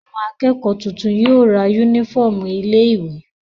Àwọn akẹ́kọ̀ọ́ tuntun yóò ra únífọ́ọ́mù ilé-ìwé.